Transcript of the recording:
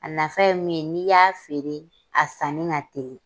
A nafa ye min ye n'i y'a feere a sanni ka teli.